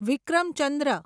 વિક્રમ ચંદ્ર